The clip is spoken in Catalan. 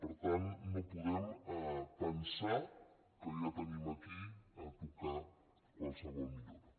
per tant no podem pensar que ja tenim aquí a tocar qualsevol millora